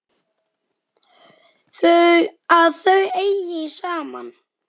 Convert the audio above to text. Að þau eigi saman.